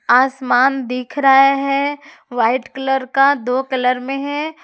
आसमान दिख रहा है वाइट कलर का दो कलर में है।